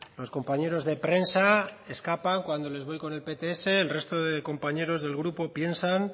los compañeros de prensa escapan cuando les voy con el pts el resto de compañeros del grupo piensan